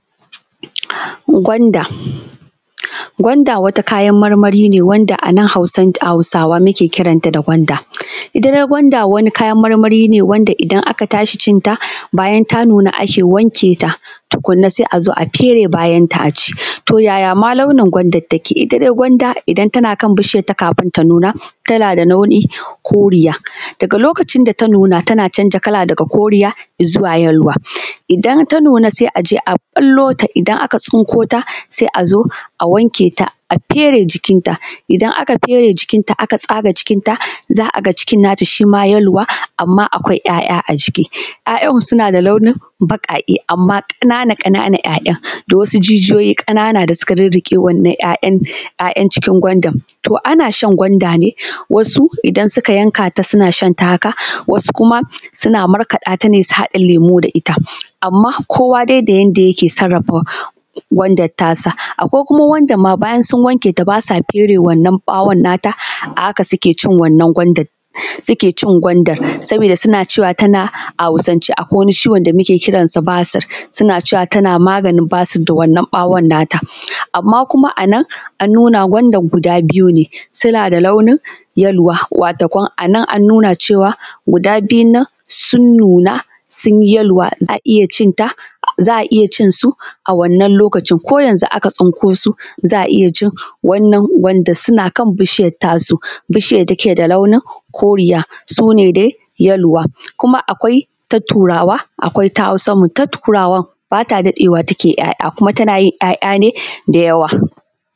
Gwanda. Gwanda wata kayan marmari ne wanda a nan Hausawa muke kiranta da gwanda, ita dai gwanda wani kayan marmari ne wanda idan aka tashi cin ta bayan ta nuna ake wanke ta tukunna sai a zo a fere bayanta a ci. To, yaya ma launin gwandan take? Ita dai gwada idan tana kan bishiyanta kafun ta nuna tana da launin koriya daga lokacin da ta nuna tana canja kala daga koriya izuwa yeluwa, Idan ta nuna sai a je, a ɓallo ta idan aka tsinko ta sai a zo a wanke ta, a fere jikinta, idan aka fere jikinta aka tsaga jikinta za a ga cikin nata shi ma yeluwa. Amma akwai ‘ya’ya a ciki ‘ya’yan suna da launun baƙaƙe amma ƙanana-ƙanana ‘ya’yan da wasu jijiyoyi da suka rirriƙe wannan ‘ya’yan cikin gwanda. To, ana shan gwanda ne wasu idan suka yanka ta suna shan ta haka, wasu kuma suna markaɗa ta ne su haɗa lemu da ita, amma kowa dai da yanda yake sarrafa gwandan tasa, akwai kuma wanda ma bayan sun wanke ta ba sa fere wannan ɓawon nata a haka suke cin wannan gwandan suke cin gwandan sabida suna cewa tana a Hausance akwai wani ciwon da muke kiranta basir suna cewa tana maganin basir. Wannan ɓawon nata amma kuma a nan an nuna gwandan guda biyu ne suna da launin yeluwa, watakam a nan an nuna cewa guda biyun nan sun nuna sun yi yeluwa za a iya cin su a wanann lokacin ko yanzun aka tsinko su za a iya cin wannan wanda suna kan bishiyar tasu, bishiyar da take da launin koriya su ne dai yeluwa kuma akwai ta Turawa, akwai ta Hausan mu, ta Turawan ba ta daɗewa take ‘ya’ya kuma tana yin ‘ya’ya ne da yawa.